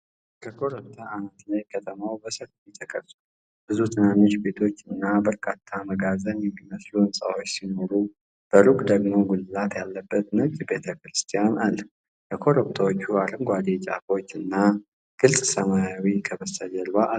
ከኮረብታ አናት ላይ ከተማ በሰፊው ተቀርጿል። ብዙ ትናንሽ ቤቶች እና በርካታ መጋዘን የሚመስሉ ሕንፃዎች ሲኖሩ፣ በሩቅ ደግሞ ጉልላት ያለበት ነጭ ቤተክርስቲያን አለ። የኮረብታዎቹ አረንጓዴ ጫፎች እና ግልጽ ሰማይ ከበስተጀርባው አሉ።